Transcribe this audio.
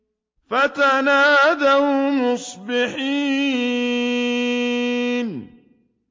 فَتَنَادَوْا مُصْبِحِينَ